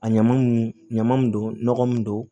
A ɲaman nunnu ɲaman don nɔgɔ min don